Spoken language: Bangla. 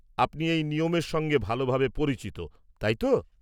আপনি এই নিয়মের সঙ্গে ভালভাবে পরিচিত, তাই তো?